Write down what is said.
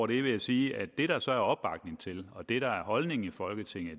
vil jeg sige at det der så er opbakning til og det der er holdningen i folketinget